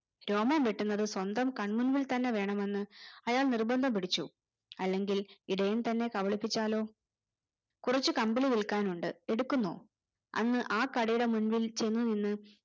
രോമം വെട്ടുന്നത് സ്വന്തം കണ്മുന്നിൽ തന്നെ വേണമെന്ന് അയാൾ നിർബന്ധം പിടിച്ചു അല്ലെങ്കിൽ ഇടയൻ തന്നെ കപളിപിച്ചാലോ കുറച്ച് കമ്പിളി വിൽക്കാനുണ്ട് എടുക്കുന്നോ അന്ന് ആ കടയുടെ മുന്നിൽ ചെന്നു നിന്ന്